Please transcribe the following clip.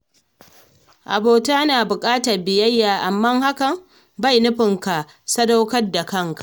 Abota na buƙatar biyayya, amma hakan bai nufin ka sadaukar da kanka.